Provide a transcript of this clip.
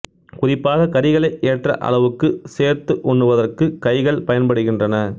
குறிப்பாக கறிகளை ஏற்ற அளவுக்கு சேர்த்து உண்ணுவதற்கு கைகள் பயன்படுகின்றன